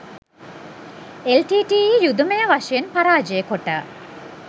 එල්ටීටීඊය යුදමය වශයෙන් පරාජය කොට